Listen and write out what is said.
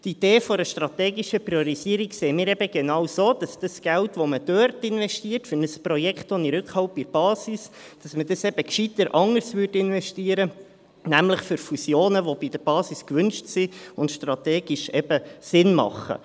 Die Idee einer strategischen Priorisierung sehen wir eben genau so, dass das Geld, das man für ein Projekt ohne Rückhalt bei der Basis investiert, eben gescheiter anders investiert, nämlich in Fusionen, die von der Basis gewünscht sind und strategisch eben Sinn machen.